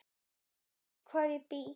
Hann veit hvar ég bý.